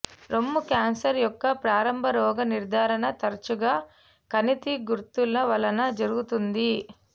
రొమ్ము క్యాన్సర్ యొక్క ప్రారంభ రోగనిర్ధారణ తరచుగా కణితి గుర్తుల వలన జరుగుతుంది